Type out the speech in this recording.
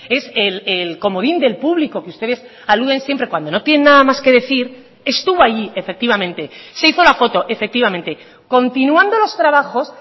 es el comodín del público que ustedes aluden siempre cuando no tiene nada más que decir estuvo allí efectivamente se hizo la foto efectivamente continuando los trabajos